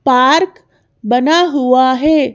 Park बना हुआ है।